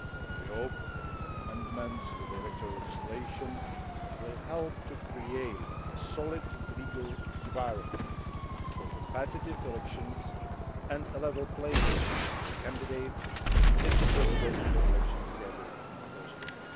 We hope that the amendments to the electoral legislation will help to create a solid legal environment for competitive elections and a level playing field for candidates in the Presidential elections scheduled for spring.